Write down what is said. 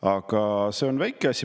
Aga see on väike asi.